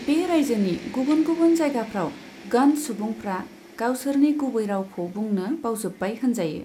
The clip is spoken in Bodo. बे रायजोनि गुबुन गुबुन जायगाफ्राव गन्ड सुबुंफ्रा गावसोरनि गुबै रावखौ बुंनो बावजोब्बाय होनजायो।